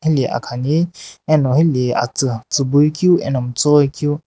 heli akhani ane heli atsu tsiibuikui ano miitsii ghoi keu.